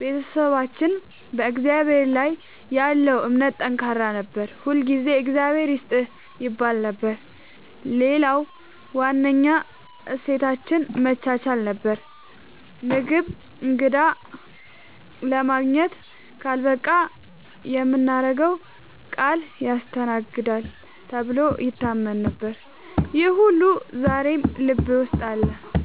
ቤተሰባችን በእግዚአብሔር ላይ ያለው እምነት ጠንካራ ነበር፤ ሁልጊዜ “እግዚአብሔር ይስጥህ” ይባል ነበር። ሌላው ዋነኛ እሴታችን መቻቻል ነበር፤ ምግብ እንግዳ ለማግኘት ካልበቃ የምናገረው ቃል ያስተናግዳል ተብሎ ይታመን ነበር። ይህ ሁሉ ዛሬም ልቤ ውስጥ አለ።